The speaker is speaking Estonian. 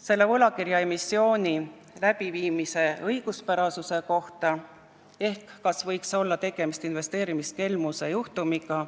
selle võlakirjaemissiooni läbiviimise õiguspärasuse kohta ehk kas võis olla tegemist investeerimiskelmusega.